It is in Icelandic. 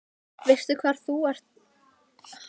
Veistu hvar þú ert Ísbjörg Guðmundsdóttir?